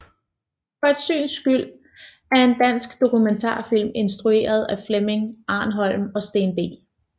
For et syns skyld er en dansk dokumentarfilm instrueret af Flemming Arnholm og Steen B